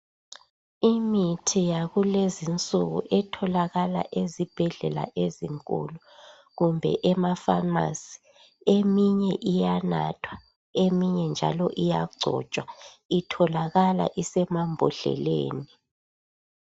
Imithi yakulezi insuku etholakala ezibhedlela ezinkulu kumbe emafamasi eminye iyanathwa eminye njalo iyagcotshwa itholakala isemabhodleleni